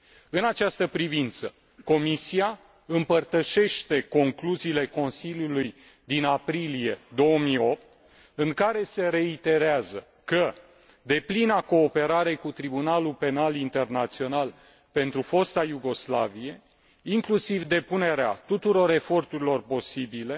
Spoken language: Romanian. În această privință, Comisia împărtășește concluziile Consiliului din aprilie 2008, în care se reiterează că deplina cooperare cu Tribunalul Penal Internațional pentru fosta Iugoslavie, inclusiv depunerea tuturor eforturilor posibile